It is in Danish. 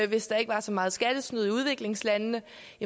hvis der ikke var så meget skattesnyd i udviklingslandene